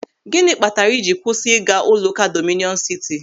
Gịnị kpatara ị jiri kwụsị ịga ụlọụka Dọmịnịọn Sịtị?